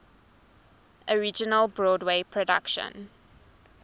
original broadway production